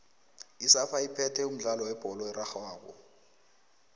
isafa iphethe umdlalo webholo erarhwako